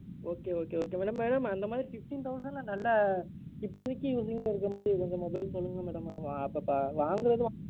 Okay, okay, okay, madam. Madam, அந்த மாதிரி fifteen thousand ல நல்ல, இப்போதைக்கு கொஞ்சம் mobile சொல்லுங்க madam. அப்போ வாங்குறது, வாங்காதது,